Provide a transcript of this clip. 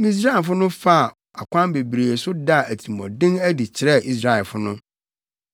Misraimfo faa akwan bebree so daa atirimɔden adi kyerɛɛ Israelfo no.